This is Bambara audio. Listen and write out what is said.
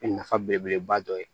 O ye nafa belebeleba dɔ ye